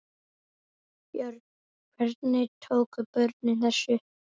Björn: Hvernig tóku börnin þessu?